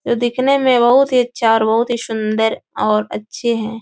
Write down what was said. जो दिखने में बहुत ही अच्छा और बहुत ही सुन्दर और अच्छे हैं।